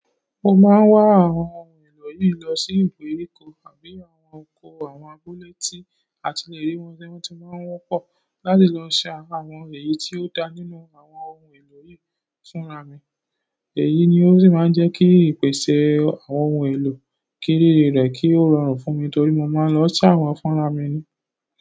Mo máa ń wá àwọn ohun èlò yìí lọ sí ìgbèríko àbí àwọn oko àwọn abúlé tí a ti le rí wọn ni wọ́n ti máa ń wọ́pọ̀ láti lọ ṣá àwọn èyí tí ó dá nínú àwọn ohun èlò yìí fúnra mi. Èyí ni ó sì máa ń jẹ́ kí ìpèsè àwọn ohun èlò kí riri rẹrẹ, kí ó rọrùn fún mi torí mo máa ń lọ ṣá wọn fúnra mi ni.